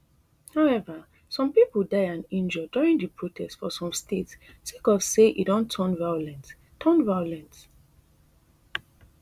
however some pipo die and injure during di protest for some states sake of say e don turn violent turn violent